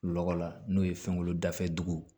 Lɔgɔ la n'o ye fɛnkolon dafɛ dugu